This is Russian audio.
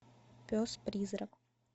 пес призрак